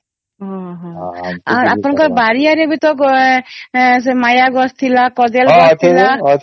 ଊ ହୂ ଆପଣଙ୍କର ବାରି ଆଡେ ବି ତ ସେ ମାୟା ଗଛ ଥିଲା ସେ କଦଳୀ ଗଛ ଥିଲା